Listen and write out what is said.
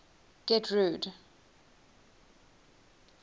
getrude